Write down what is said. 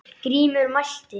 Grímur mælti